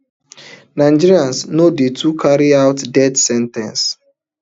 nigeria no dey too carry out death sen ten ces